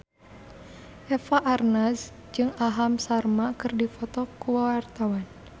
Eva Arnaz jeung Aham Sharma keur dipoto ku wartawan